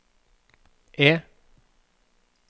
E